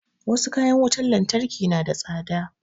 Wasu kayan wutar lantarki na da tsada